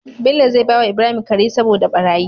Bello zai bawa Ibrahim Kare saboda barayi